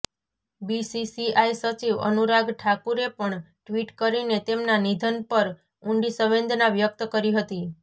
BCCI સચિવ અનુરાગ ઠાકુરે પણ ટ્વીટ કરીને તેમના નિધન પર ઉંડી સંવેદના વ્યક્ત કરી હતી